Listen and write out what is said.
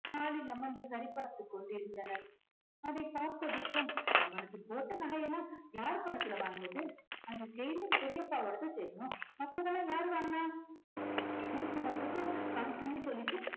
hall லில் அமர்ந்து சரி பார்த்துக் கொண்டிருந்தனர். அதை பார்த்த விஷ்வன் அவளுக்கு போட்ட நகையெல்லாம் யாரு பணத்துல வாங்குனது அந்த செயின் பெரியப்பாவோடது தெரியும் மத்ததெல்லாம் யாரு வாங்குனா வீட்டு மொத்தத்துக்கும் function ன்னு சொல்லிட்டு